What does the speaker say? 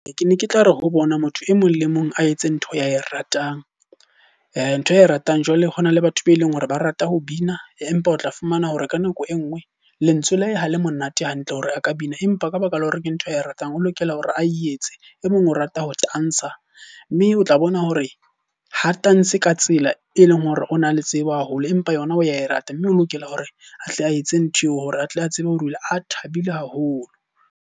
Ke ne ke tla re ho bona motho e mong le mong a etse ntho ae ratang. Ntho ae ratang jwale hona le batho be leng hore ba rata ho bina, empa o tla fumana hore ka nako e nngwe lentswe la ho le monate hantle hore a ka bina. Empa ka baka la hore ke ntho ae ratang, o lo lokela hore a etse. E mong o rata ho tantsha, mme o tla bona hore ha tantshe ka tsela e leng hore o na le tsebo haholo. Empa yona o ya e rata mme o lokela hore atle a etse ntho eo, hore a tle a tsebe hore o ile a thabile haholo.